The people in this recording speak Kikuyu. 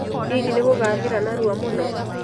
Hihi nĩ gũgathira narua mũno?